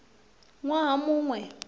ṅ waha mu ṅ we